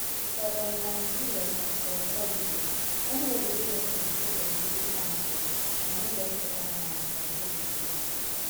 for um nigeria um politics anybody wey get control of di local councils na im get upper hand to control di state